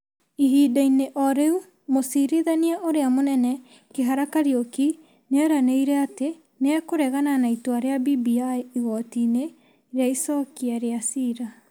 Ihinda-inĩ o rĩu, Mũcirithania ũrĩa Mũnene Kihara Kairuki nĩ eranĩire atĩ nĩ ekũregana na itua rĩa BBI igooti-inĩ rĩa Icokia rĩa cira.